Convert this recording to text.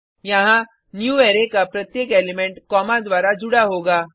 यहाँ न्यूवारे का प्रत्येक एलिमेंट कॉमा द्वारा जुड़ा होगा